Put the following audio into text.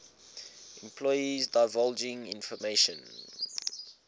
employees divulging information